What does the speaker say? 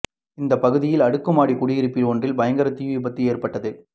இந்த பகுதியில் அடுக்குமாடி குடியிருப்பு ஒன்றில் பயங்கர தீ விபத்து ஏற்பட்டது